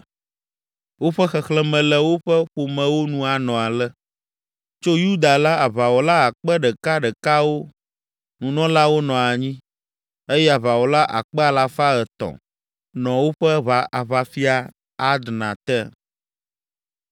Woƒe xexlẽme le woƒe ƒomewo nu nɔ ale: tso Yuda la, aʋawɔla akpe ɖekaɖekawo (1,000) nunɔlawo nɔ anyi eye aʋawɔla akpe alafa etɔ̃ (300,000) nɔ woƒe aʋafia, Adna te.